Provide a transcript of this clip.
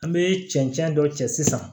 An bɛ cɛncɛn dɔ cɛ sisan